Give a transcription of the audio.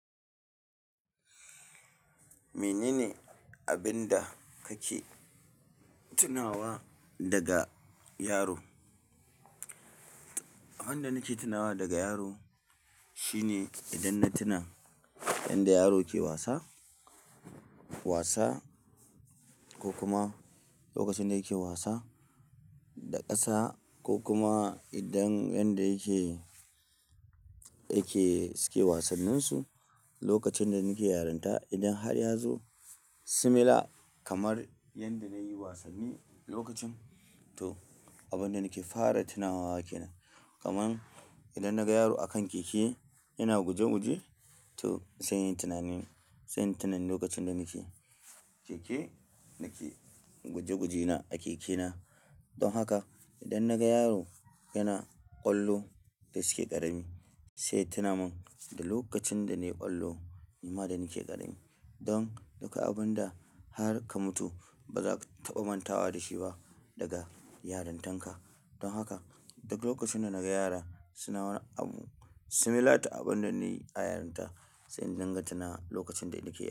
Menene abin da kake tunawa daga yaro? Abin da nake tunawa daga yaro shine idan na tuna yanda yaro ke wasa, wasa ko kuma lokacin da yake wasa da ƙasa ko kuma idan yanda yake, yake suke wasanninsu lokacin da nake yaranta. Idan har ya zo similar kamar yanda na yi wasanni lokacin, to abin da nake fara tunawa kenan. Kaman idan naga yaro a kan keke yana guje guje, to zan yi tunanin, zan yi tunanin lokacin da nake keke, nake guje guje na a keke na. Don haka idan naga yaro yana ƙwallo da suke ƙarami, sai tuna min da lokacin da na yi ƙwallo, kuma da nake ƙarami. Don haka abin da har ka mutu ba za ka taɓa mantawa da shi ba daga yarintan ka. Don haka duk lokacin da naga yara suna wa abu similar ta abin da na yi a yarinta, sai in dibga tuna lokacin da nake.